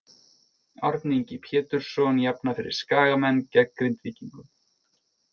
Árni Ingi Pjetursson jafnar fyrir Skagamenn gegn Grindvíkingum.